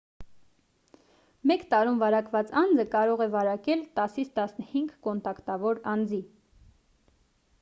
մեկ տարում վարակված անձը կարող է վարակել 10-15 կոնտակտավոր անձի